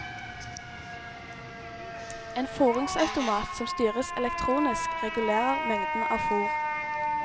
En fôringsautomat som styres elektronisk, regulerer mengden av fôr.